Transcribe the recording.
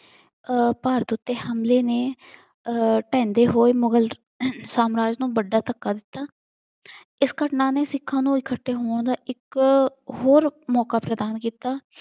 ਅਹ ਭਾਰਤ ਉੱਤੇ ਹਮਲੇ ਨੇ ਅਹ ਢਹਿੰਦੇ ਹੋਏ ਮੁਗ਼ਲ ਸਾਮਰਾਜ ਨੂੰ ਵੱਡਾ ਧੱਕਾ ਦਿੱਤਾ। ਇਸ ਘਟਨਾ ਨੇ ਸਿਖਾਂ ਨੂੰ ਇਕੱਠੇ ਹੋਣ ਦਾ ਇੱਕ ਹੋਰ ਮੌਕਾ ਪ੍ਰਦਾਨ ਕੀਤਾ।